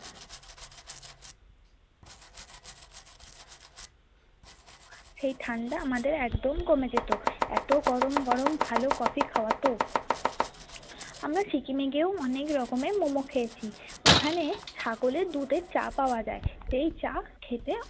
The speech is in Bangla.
সেই ঠান্ডা আমাদের একদম কমে যেত এতো গরম গরম ভালো coffee খাওয়াত আমরা সিকিমে গিয়েও অনেক রকমের momo খেয়েছি ওখানে ছাগলের দুধের চা পাওয়া যায় সেই চা খেতে।